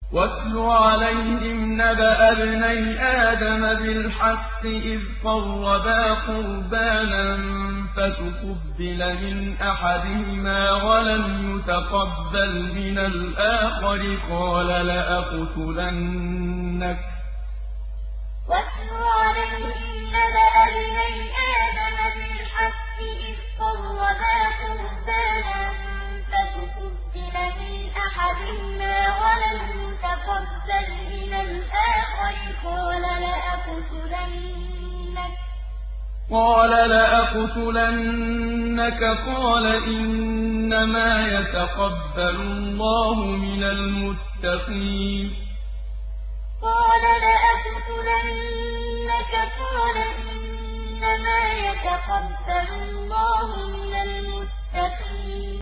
۞ وَاتْلُ عَلَيْهِمْ نَبَأَ ابْنَيْ آدَمَ بِالْحَقِّ إِذْ قَرَّبَا قُرْبَانًا فَتُقُبِّلَ مِنْ أَحَدِهِمَا وَلَمْ يُتَقَبَّلْ مِنَ الْآخَرِ قَالَ لَأَقْتُلَنَّكَ ۖ قَالَ إِنَّمَا يَتَقَبَّلُ اللَّهُ مِنَ الْمُتَّقِينَ ۞ وَاتْلُ عَلَيْهِمْ نَبَأَ ابْنَيْ آدَمَ بِالْحَقِّ إِذْ قَرَّبَا قُرْبَانًا فَتُقُبِّلَ مِنْ أَحَدِهِمَا وَلَمْ يُتَقَبَّلْ مِنَ الْآخَرِ قَالَ لَأَقْتُلَنَّكَ ۖ قَالَ إِنَّمَا يَتَقَبَّلُ اللَّهُ مِنَ الْمُتَّقِينَ